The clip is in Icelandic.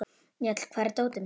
Njáll, hvar er dótið mitt?